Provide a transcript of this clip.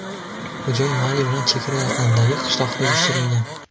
hujum Mali bilan chegara yaqinidagi qishloqqa uyushtirilgan.